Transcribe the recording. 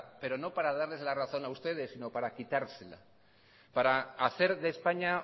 pero no para darles la razón a ustedes sino para quitársela para hacer de españa